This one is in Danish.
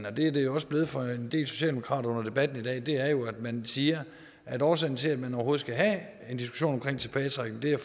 og det er det jo blevet for en del andre socialdemokrater under debatten i dag er jo at man siger at årsagen til at man overhovedet skal have en diskussion om tilbagetrækningen